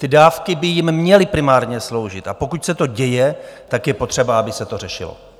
Ty dávky by jim měly primárně sloužit, a pokud se to děje, tak je potřeba, aby se to řešilo.